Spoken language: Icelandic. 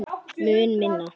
Mun minna.